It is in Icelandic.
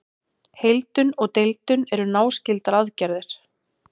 Heildun og deildun eru náskyldar aðgerðir.